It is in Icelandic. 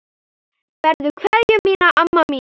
Berðu kveðju mína, amma mín.